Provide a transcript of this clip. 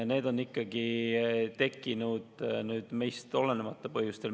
Need on tekkinud meist olenemata põhjustel.